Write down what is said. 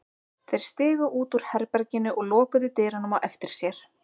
Þeir stigu út úr herberginu og lokuðu dyrunum á eftir sér.